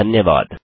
धन्यवाद